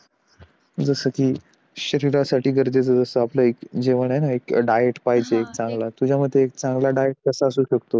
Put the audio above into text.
जस कि शरिरासाठी गरजेचं असत जस आपलं एक जेवणआहे ना एक डाएट पाहिजे हम्म चांगला तुझ्या मते चांगला डाएट कसा असे शकतो